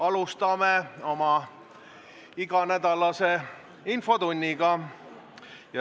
Alustame oma iganädalast infotundi.